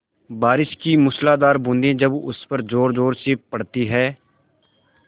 बारिश की मूसलाधार बूँदें जब उस पर ज़ोरज़ोर से पड़ती हैं